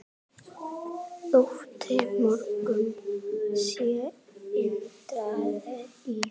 Þótti mörgum sem Indriði í